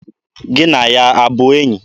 Gị na ya ọ bụ enyi?